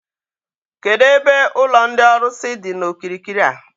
Kedụ ebe ụlọ ndị ọlụsị dị n'okirikiri a?